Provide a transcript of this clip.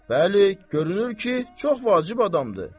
Bəli, görünür ki, çox vacib adamdır.